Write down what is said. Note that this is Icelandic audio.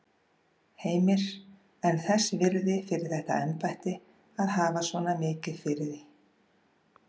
Heimir: En þess virði fyrir þetta embætti að hafa svona mikið fyrir því?